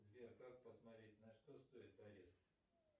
сбер как посмотреть на что стоит арест